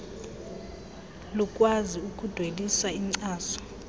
lukwazi ukudwelisa inkcaso